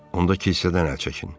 Onda kilsədən əl çəkin.